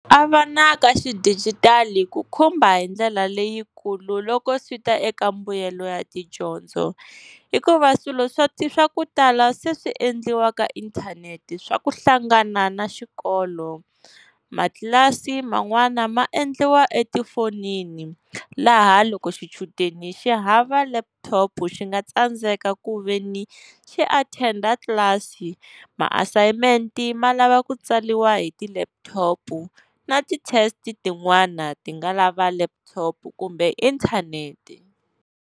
A va na ka xidijitali ku khumba hi ndlela leyikulu loko swi ta eka mbuyelo ya tidyondzo. Hikuva swilo swa swa ku tala se swi endliwa ka inthanete, swa ku hlangana na xikolo. Matlilasi man'wana ma endliwa etifonini, laha loko xichudeni xi hava laptop xi nga tsandzeka ku veni xi attender class, maasayimente ma lava ku tsariwa hi ti-laptop na ti-test tin'wana ti nga lava laptop kumbe inthanete.